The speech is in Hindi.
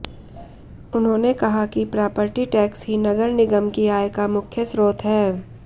उन्होंने कहा कि प्रापर्टी टैक्स ही नगर निगम की आय का मुख्य स्रोत है